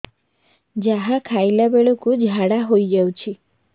ଯାହା ଖାଇଲା ବେଳକୁ ଝାଡ଼ା ହୋଇ ଯାଉଛି